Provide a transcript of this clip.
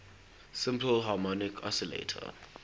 simple harmonic oscillator